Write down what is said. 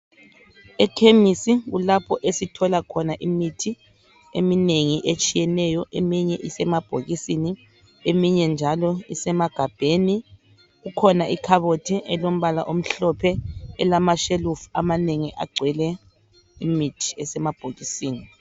Ekhemisi kulapho esithola khona imithi eminengi etshiyeneyo eminye isemabhokisini eminye njalo isemagabheni kukhona ikhabothi elombala omhlophe elamashelufu amanengi agcwele imithi esemabhokisini.